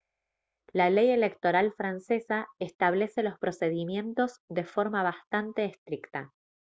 la ley electoral francesa establece los procedimientos de forma bastante estricta